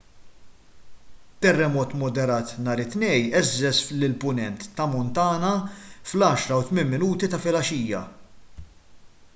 terremot moderat nhar it-tnejn għeżżeż lill-punent ta' montana fl-10:08 ta' filgħaxija